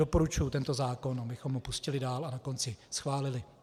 Doporučuji tento zákon, abychom ho pustili dál a na konci schválili.